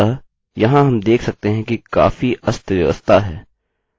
अतः यहाँ हम देख सकते हैं कि काफी अस्तव्यस्तता है